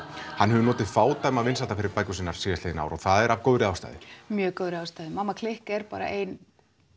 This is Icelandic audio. hann hefur notið fádæma vinsælda fyrir bækur sínar síðustu ár og það er af góðri ástæðu mjög góðri mamma klikk er bara ein